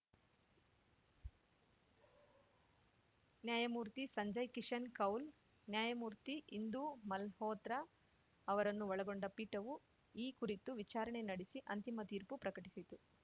ನ್ಯಾಯ ಮೂರ್ತಿ ಸಂಜಯ್‌ ಕಿಶನ್‌ ಕೌಲ್‌ ನ್ಯಾಯ ಮೂರ್ತಿ ಇಂದೂ ಮಲ್ಹೋತ್ರಾ ಅವರನ್ನು ಒಳಗೊಂಡ ಪೀಠವು ಈ ಕುರಿತು ವಿಚಾರಣೆ ನಡೆಸಿ ಅಂತಿಮ ತೀರ್ಪು ಪ್ರಕಟಿಸಿತು